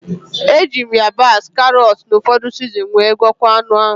E ji m yabasị, karọt, na ụfọdụ sizinin wee gwoko anụ ahụ